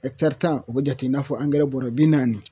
tan o bɛ jate i n'a fɔ bɔrɛ bi naani